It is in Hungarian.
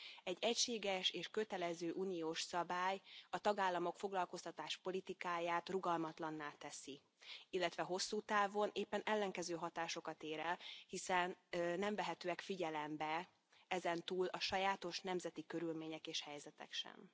Egy egységes és kötelező uniós szabály a tagállamok foglalkoztatáspolitikáját rugalmatlanná teszi, illetve hosszú távon éppen ellenkező hatásokat ér el, hiszen nem vehetők figyelembe ezentúl a sajátos nemzeti körülmények és helyzetek sem.